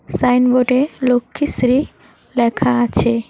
Sign board -এ লক্ষ্মীশ্রী লেখা আছে।